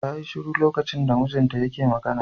Ta yi shiru lokacin da mijinta yake magana.